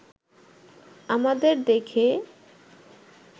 আমাদের দেখে